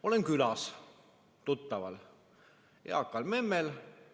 Olen külas tuttaval eakal memmel.